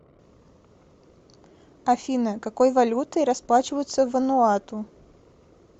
афина какой валютой расплачиваются в вануату